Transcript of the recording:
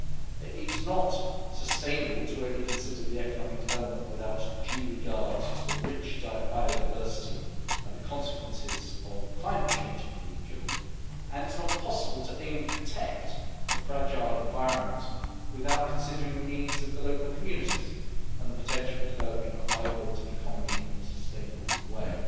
It is not sustainable to only consider the economic development without due regard to the rich biodiversity and the consequences of climate change in the region, and it is not possible to aim to protect the fragile environment without considering the needs of the local communities and the potential for developing a vibrant economy in a sustainable way.